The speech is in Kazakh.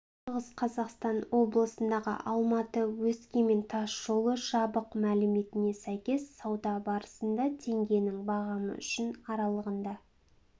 шығыс қазақстан облысындағы алматы өскемен тас жолы жабық мәліметіне сәйкес сауда барысында теңгенің бағамы үшін аралығында